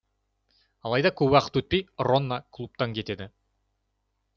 алайда көп уақыт өтпей ронна клубтан кетеді